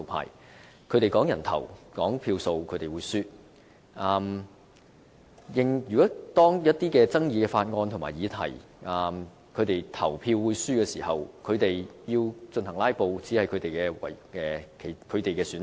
如果論人頭、計票數，他們會輸，他們知道就一些具爭議的法案和議題表決會輸的時候，"拉布"是他們唯一的選擇。